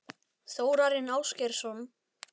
Þórarinn Ásgeirsson?